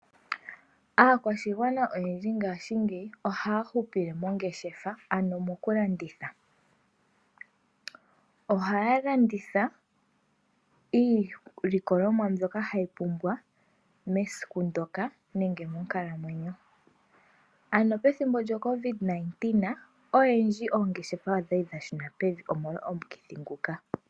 Aakwashigwana oyendji ngashingeyi ohaya hupile mongeshefa ano mokulanditha. Ohaya landitha iilikolomwa mbyoka hayi pumbwa mesiku ndyoka nenge monkalamwenyo. Pethimbo lyoCovid-19 oyendji oongeshefa odhali dhashuna pevi molwa omukithi ngoka.